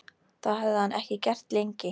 Það hafði hann ekki gert lengi.